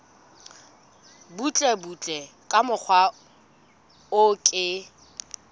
butlebutle ka mokgwa o ke